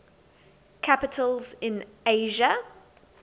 capitals in asia